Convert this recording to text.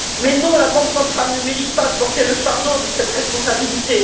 Mais non, la Banque centrale ne mérite pas de porter le fardeau de cette responsabilité.